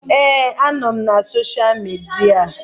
Ee, anọ m na sosha midia